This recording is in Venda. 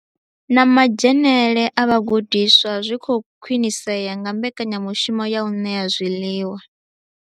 Na madzhenele a vhagudiswa zwi khou khwinisea nga mbekanyamushumo ya u ṋea zwiḽiwa.